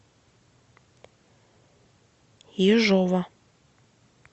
ежова